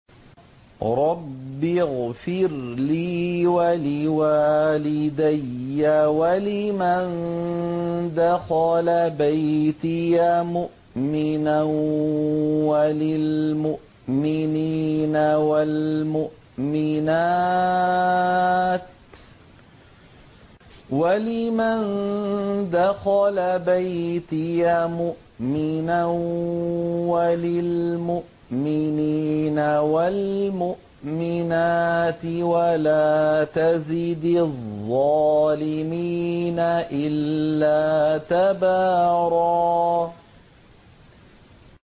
رَّبِّ اغْفِرْ لِي وَلِوَالِدَيَّ وَلِمَن دَخَلَ بَيْتِيَ مُؤْمِنًا وَلِلْمُؤْمِنِينَ وَالْمُؤْمِنَاتِ وَلَا تَزِدِ الظَّالِمِينَ إِلَّا تَبَارًا